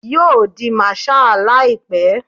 Yo di marshal laipe